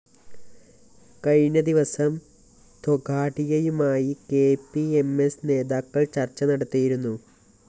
കഴിഞ്ഞദിവസം തൊഗാഡിയയുമായി K P M S നേതാക്കള്‍ ചര്‍ച്ച നടത്തിയിരുന്നു